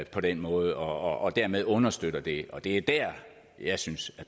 på den måde og dermed understøtter det og det er dér at jeg synes